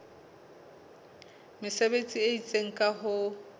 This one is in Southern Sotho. mesebetsi e itseng ka ho